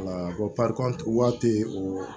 Wala waati o